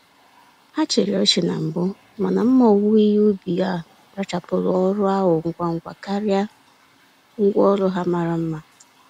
Ha chịrị ọchị na mbụ, mana mma owuwe ihe ubi a rụchapụrụ ọrụ ahụ ngwa ngwa karịa ngwa orụ ha mara mma.